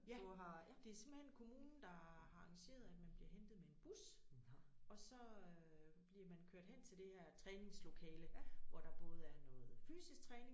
Ja det simpelthen kommunen der har arrangeret at man bliver hentet med en bus og så øh bliver man kørt hen til det her træningslokale hvor der både er noget fysisk træning